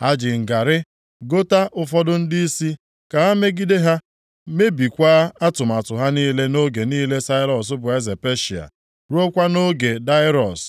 Ha ji ngarị gota ụfọdụ ndịisi ka ha megide ha, mebikwaa atụmatụ ha niile nʼoge niile Sairọs bụ eze Peshịa, ruokwa nʼoge Daraiọs